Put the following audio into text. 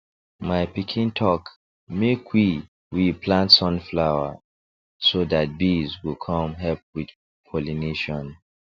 my pikin talk make we we plant sunflower so that bees go come help with pollination